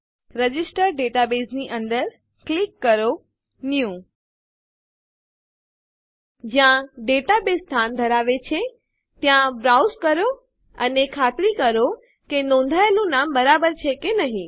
register ડેટાબેઝીસની અંદર click કરો ન્યૂ જ્યાં ડેટાબેઝ સ્થાન ધરાવે છે ત્યાં બ્રાઉઝ કરો અને ખાતરી કરો કે નોંધાયેલું નામ બરાબર છે કે નહીં